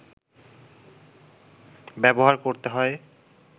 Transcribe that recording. ব্যবহার করতে হয়